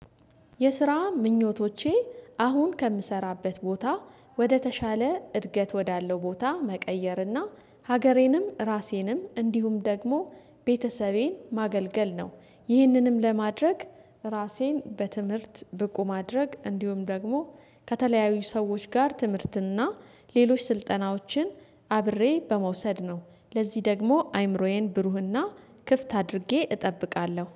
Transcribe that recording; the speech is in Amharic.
የስራ ምኞቶቼ አሁን ከምሰራበት ቦታ ወደተሻለ እድገት ወዳለው ቦታ መቀየርና ሀገሬንም ራሴንም እንዲሁም ደግሞ ቤተሰቤን ማገልገል ነው። ይህንንም ለማድረግ ራሴን በትምህርት ብቁ ማድረግ እንዲሁም ደግሞ ከተለያዩ ሰዎች ጋር ትምህርትና ሌሎች ስልጠናዎችን አብሬ በመውሰድ ነው። ለዚህ ደግሞ አምሮዬን ብሩህና ክፍት አድርጌ እጠብቃለሁ